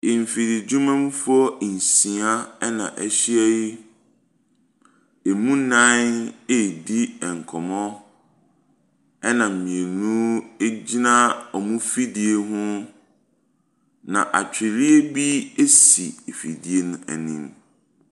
Nfidi dwumafoɔ nsia ɛna ɛhyia yi. Emu nan redi nkɔmmo ɛna mmienu gyina wɔn fidie ho. Na atwediɛ bi esi ɛfidie no anim.